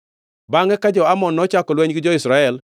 Bangʼe, ka jo-Amon nochako lweny gi jo-Israel,